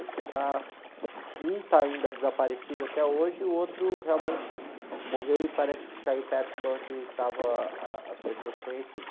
Está, um está ainda desaparecido até hoje e o outro realmente morreu e parece que caiu perto de onde estavam ah, ah as pessoas conhecidas.